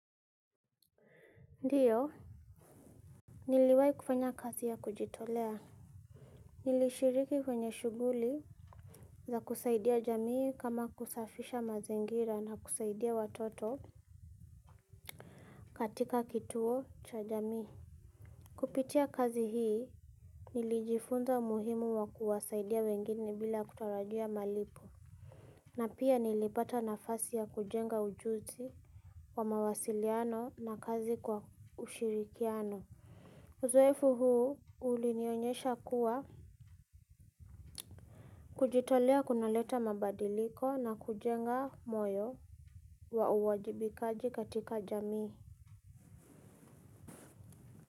Ndiyo niliwahi kufanya kazi ya kujitolea nilishiriki kwenye shughuli za kusaidia jamii kama kusafisha mazingira na kusaidia watoto katika kituo cha jamii kupitia kazi hii nilijifunza umuhimu wa kuwasaidia wengine bila kutarajia malipo na pia nilipata nafasi ya kujenga ujuzi wa mawasiliano na kazi kwa ushirikiano uzoefu huu ulinionyesha kuwa kujitolea kunaleta mabadiliko na kujenga moyo wa uwajibikaji katika jamii.